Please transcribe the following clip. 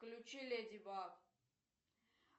включи леди баг